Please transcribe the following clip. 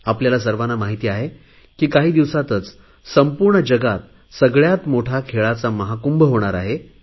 आपल्या सर्वांना माहित आहे की काही दिवसातच संपूर्ण जगात सगळयात मोठा खेळाचा महाकुंभ होणार आहे